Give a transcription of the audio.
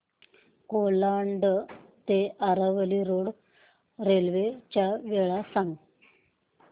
कोलाड ते Aravali road railway च्या वेळा सांग